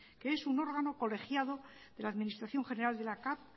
es un órgano colegiado de la administración general de la cav